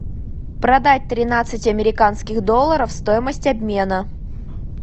продать тринадцать американских долларов стоимость обмена